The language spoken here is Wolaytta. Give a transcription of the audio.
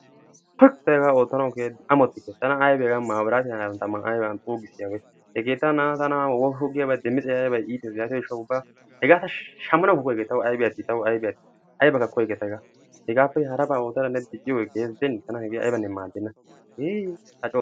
Tuuyk ta hegaa oottanawu amotike. tana aybe hegaa mabiratiyaa taman xuugissiyabay hegeetawu na'aawu woppu giyabay iitees. yaatiyo gishshawu hegaa ta shammanawukka koyike hega tawu aybi atti. ayabakka koyike ta heegaa. heegappe haraba oottada ne dicciyoge keehees gidene tana hegee aybane maadenna hii a co xaysso.